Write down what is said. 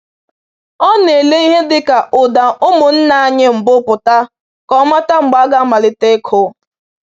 Ọ na-ele ihe dịka ụda ụmụnnaanyị mbụ pụta ka o mata mgbe a ga-amalite ịkụ.